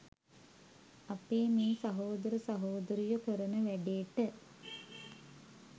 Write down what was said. අපේ මේ සහෝදර සහෝදරියො කරන වැඩේට